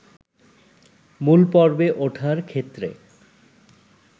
মূলপর্বে ওঠার ক্ষেত্রে